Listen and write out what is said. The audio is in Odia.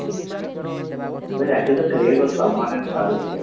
ସଲମାନ ଆଉ ଶାହରୁଖ ଭାଇ